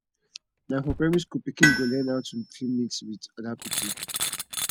na for primary school pikin go learn how to fit mix with oda pikin